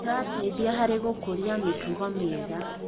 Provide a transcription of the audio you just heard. Kĩrateithia harĩ gũkũria mĩtugo mĩega.